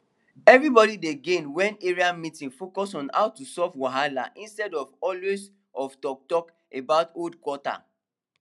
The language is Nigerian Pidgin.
everybody dey gain when area meeting focus on how to solve wahala instead of always of talktalk about old quata